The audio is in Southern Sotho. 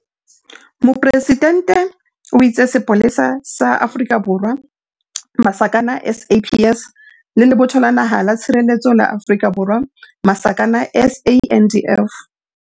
Mopresidente o itse Sepolesa sa Afrika Borwa, SAPS, le Lebotho la Naha la Tshireletso la Afrika Borwa, SANDF.